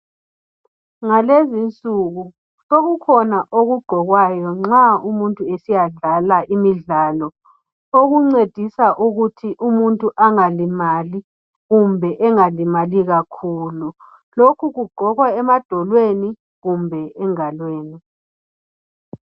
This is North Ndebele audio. Ngalezi nsuku sokukhona okugqokwayo nxa umuntu esiyadlala imidlalo okuncedisa ukuthi umuntu angalimali kumbe engalimali kakhulu. Lokhu kugqokwa emadolweni kumbe engalweni.